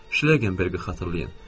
Şleqenbergi xatırlayın.